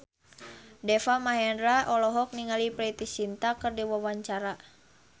Deva Mahendra olohok ningali Preity Zinta keur diwawancara